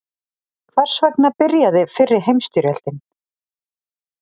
Hvers vegna byrjaði fyrri heimstyrjöldin?